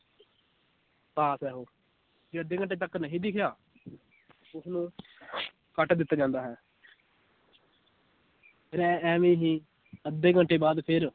ਪਾਸ ਹੈ ਉਹ, ਜੇ ਅੱਧੇ ਘੰਟੇ ਤੱਕ ਨਹੀਂ ਦਿਖਿਆ ਉਸਨੂੰ ਕੱਟ ਦਿੱਤਾ ਜਾਂਦਾ ਹੈ ਫਿਰ ਐਂ ਇਵੇਂ ਹੀ ਅੱਧੇ ਘੰਟੇ ਬਾਅਦ ਫਿਰ,